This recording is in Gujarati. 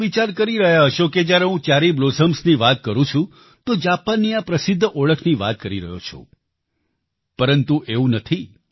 તમે વિચાર કરી રહ્યા હશો જ્યારે હું ચેરી બ્લોસમ્સની વાત કરું છું તો જાપાનની આ પ્રસિદ્ધ ઓળખની વાત કરી રહ્યો છું પરંતુ એવું નથી